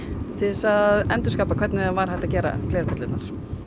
til þess að endurskapa hvernig var hægt að gera glerperlurnar